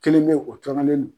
Kelen bɛ o tɔrɔlen do.